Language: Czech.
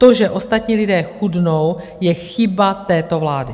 To, že ostatní lidé chudnou, je chyba této vlády.